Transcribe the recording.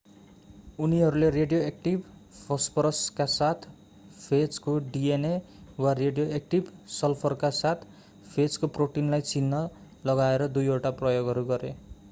उनीहरूले रेडियोएक्टिभ फस्फोरसका साथ फेजको डिएनए वा रेडियोएक्टिभ सल्फरका साथ फेजको प्रोटिनलाई चिन्ह लगाएर दुईवटा प्रयोगहरू गरे